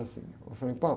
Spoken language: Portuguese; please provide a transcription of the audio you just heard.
Assim, ôh, frei